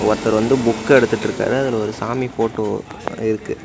ஒர்தர் வந்து புக்கெடுத்துட்ருக்காரு அதுல ஒரு சாமி ஃபோட்டோ படோ இருக்கு.